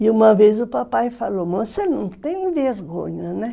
E uma vez o papai falou, você não tem vergonha, né?